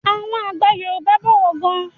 Àwọn àgbà Yorùbá ń pòwe gan.